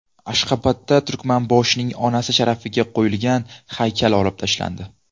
Ashxobodda Turkmanboshining onasi sharafiga qo‘yilgan haykal olib tashlandi.